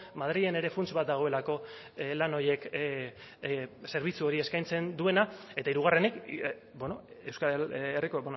madrilen ere funts bat dagoelako lan horiek zerbitzu hori eskaintzen duena eta hirugarrenik euskal herriko